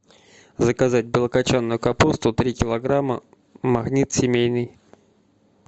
заказать белокочанную капусту три килограмма магнит семейный